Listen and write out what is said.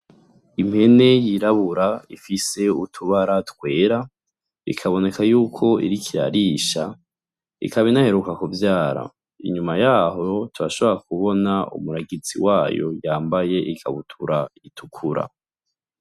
Impene yirabura ifise utubara twera ikaboneka yuko iriko irarisha ikaba inaheruka kuvyara inyuma yaho turashobora kubona umuragizi wayo yambaye ikabutura itukura.